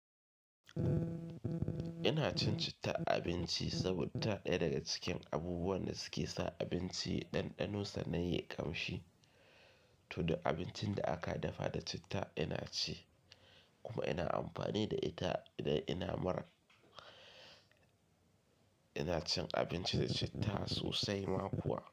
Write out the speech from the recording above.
Ina cin citta a abinci saboda ita ɗaya daga cikin abubuwan da suke sa abinci ɗanɗano sannan ye ƙamshi. To, duk abincin da aka dafa da citta ina ci kuma ina amfani da ita idan ina marar. Ina cin abinci da citta sosai ma kuwa.